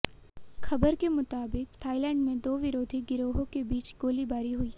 खबर के मुताबिक थाईलैंड में दो विरोधी गिरोहों के बीच गोलीबारी हुई